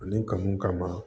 Ani kanu kama